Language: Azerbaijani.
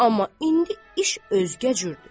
Amma indi iş özgə cürdür.